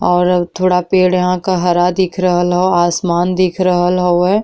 और थोड़ा पेड़ यहां क हरा दिख रहल हौ। आसमान दिख रहल हौवे।